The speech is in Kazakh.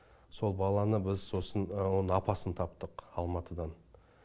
сол баланы біз сосын оның апасын таптық алматыдан